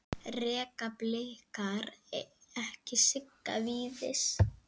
Reka Blikar ekki Sigga Víðis?